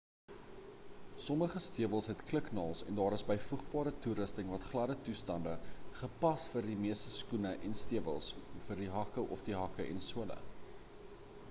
sommige stewels het kliknaels en daar is byvoegbare toerusting vir gladde toestande gepas vir die meeste skoene en stewels vir die hakke of die hakke en sole